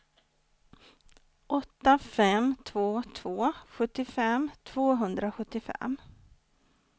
åtta fem två två sjuttiofem tvåhundrasjuttiofem